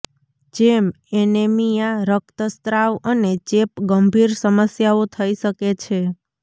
જેમ એનેમિયા રક્તસ્ત્રાવ અને ચેપ ગંભીર સમસ્યાઓ થઇ શકે છે